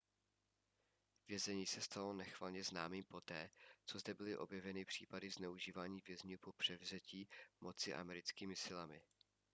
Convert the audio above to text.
vězení se stalo nechvalně známým poté co zde byly objeveny případy zneužívání vězňů po převzetí moci americkými silami